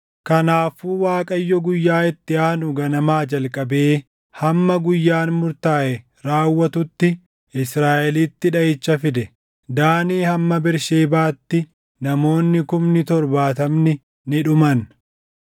Kanaafuu Waaqayyo guyyaa itti aanu ganamaa jalqabee hamma guyyaan murtaaʼe raawwatutti Israaʼelitti dhaʼicha fide; Daanii hamma Bersheebaatti namoonni kumni torbaatamni ni dhuman.